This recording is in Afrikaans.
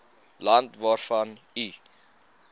land waarvan u